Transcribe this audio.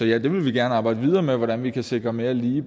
ja vi vil gerne arbejde videre med hvordan vi kan sikre mere lige